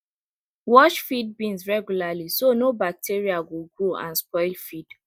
wash feed bins regularly so no bacteria go grow and spoil feed